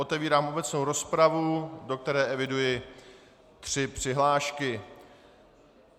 Otevírám obecnou rozpravu, do které eviduji tři přihlášky.